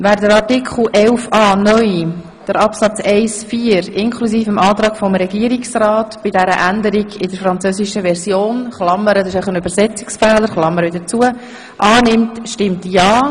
Wer Artikel 11a (neu), Absätze 1–4 inklusive dem Antrag des Regierungsrats für die Änderung eines Übersetzungsfehlers in der französischen Version annimmt, stimmt ja.